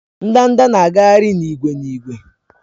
Ndanda na-agagharị n'ìgwè n'ìgwè